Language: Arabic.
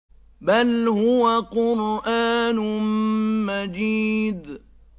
بَلْ هُوَ قُرْآنٌ مَّجِيدٌ